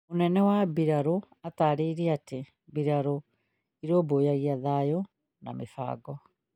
mũnene wa mbirarũ atarĩirie atĩ mbĩratũ ĩrũmbũyagia thayũ na mĩbango